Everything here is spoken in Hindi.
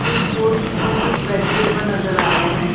कुछ फ्रूट्स और कुछ वेजिटेबल्स नजर आ रहे हैं।